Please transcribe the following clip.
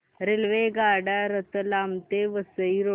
रेल्वेगाड्या रतलाम ते वसई रोड